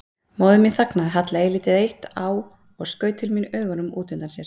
Móðir mín þagnaði, hallaði lítið eitt á og skaut til mín augunum út undan sér.